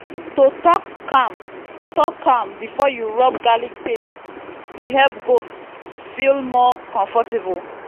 to talk calm talk calm before you rub garlic paste dey help goats feel more comfortable.